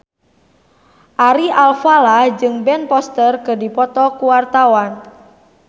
Ari Alfalah jeung Ben Foster keur dipoto ku wartawan